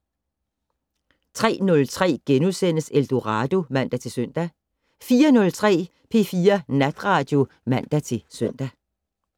03:03: Eldorado *(man-søn) 04:03: P4 Natradio (man-søn)